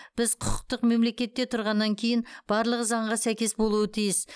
біз құқықтық мемлекетте тұрғаннан кейін барлығы заңға сәйкес болуы тиіс